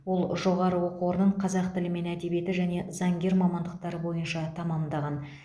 ол жоғары оқу орнын қазақ тілі мен әдебиеті және заңгер мамандықтары бойынша тәмамдаған